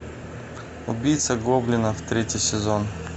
убийца гоблинов третий сезон